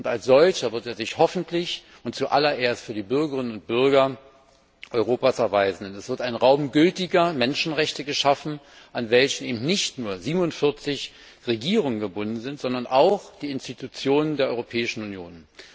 Als solcher wird er sich hoffentlich zuallererst für die Bürgerinnen und Bürger Europas erweisen, denn es wird ein Raum gültiger Menschenrechte geschaffen, an welchen nicht nur 47 Regierungen gebunden sind, sondern auch die Institutionen der Europäischen Union.